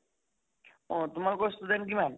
অহ তোমালোকৰ student কিমান?